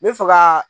N bɛ fɛ ka